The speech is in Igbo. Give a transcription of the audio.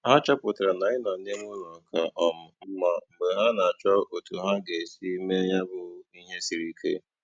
Ha chọpụtara na ịnọ n'ime ụlọ ka um mma mgbe ha na - achọ otu ha ga - esi me ya bụ ihe siri ike